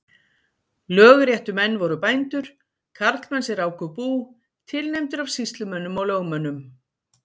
Lögréttumenn voru bændur, karlmenn sem ráku bú, tilnefndir af sýslumönnum og lögmönnum.